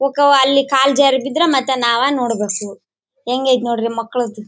ಹೋಗ್ತಾವ ಮತ್ತೆ ಅಲ್ಲಿ ಕಾಲು ಜಾರಿ ಬಿದ್ರೆ ಅಮೆಕ್ ನಾವ ನೋಡ್ಬೇಕು ಹೆಂಗೆ ಐತೆ ನೋಡ್ರಿ ಮಕ್ಕಳದು.